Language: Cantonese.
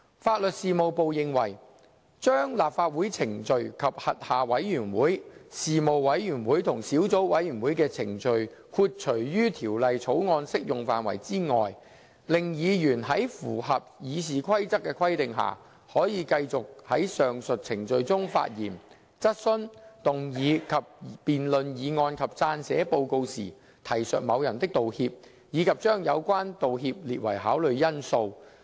法律事務部認為，把立法會程序及其轄下的委員會、事務委員會及小組委員會的程序豁除於《條例草案》適用範圍外，令議員在符合《議事規則》的規定下，可以繼續在上述程序中發言、質詢、動議及辯論議案及撰寫報告時，提述某人的道歉，以及將有關道歉列為考慮因素。